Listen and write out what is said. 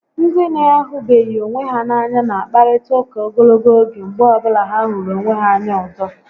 Ndị na-ahụbeghị onwe ha n'anya na akparịta ụka ogologo oge mgbe ọbụla ha hụrụ onwe ha anya ọzọ